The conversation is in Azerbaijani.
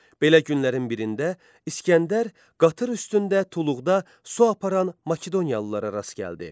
Belə günlərin birində İsgəndər qatır üstündə tuluqda su aparan Makedoniyalıllara rast gəldi.